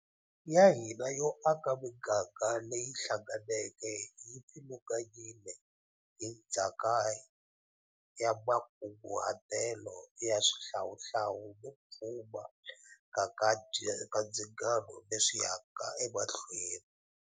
Ya hina yo aka miganga leyi hlanga neke yi pfilunganyiwile hi ndzhaka ya makunguhatelo ya xihlawuhlawu no pfumaleka ka ndzingano leswi yaka emahlweni.